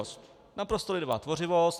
Naprosto lidová tvořivost.